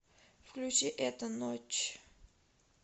включи эта ночь